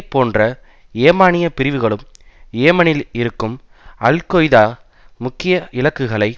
போன்ற யேமானிய பிரிவுகளும் யேமனில் இருக்கும் அல் கெய்தா முக்கிய இலக்குகளை